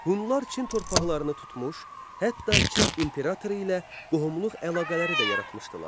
Hunlar Çin torpaqlarını tutmuş, hətta Çin imperatoru ilə qohumluq əlaqələri də yaratmışdılar.